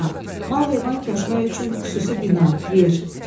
mal-heyvan kəsmək üçün xüsusi bina, yer.